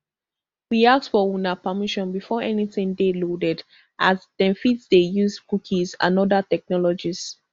we ask for una permission before anytin dey loaded as dem fit dey use cookies and oda technologies